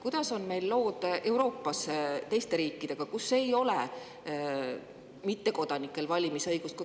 Kuidas on lood Euroopa teiste riikidega, kus mittekodanikel ei ole valimisõigust?